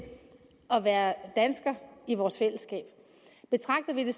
at være danskere i vores fællesskab betragter vi det